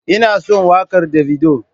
Ina son wakar davido.